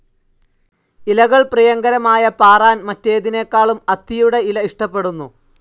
ഇലകൾ പ്രിയങ്കരമായ പാറാൻ മറ്റേതിനെക്കാളും അത്തിയുടെ ഇല ഇഷ്ടപ്പെടുന്നു.